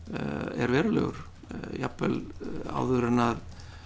er verulegur jafnvel áður en